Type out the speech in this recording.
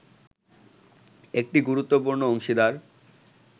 একটি গুরুত্বপূর্ণ অংশীদার